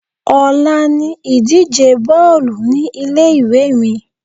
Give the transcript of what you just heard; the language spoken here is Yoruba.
Ọ̀la ni ìdíje Bọ́ọ̀lù ní ilé ìwé mi.